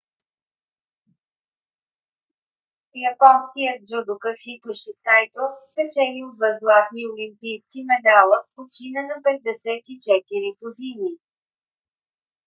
японският джудока хитоши сайто спечелил два златни олимпийски медала почина на 54 години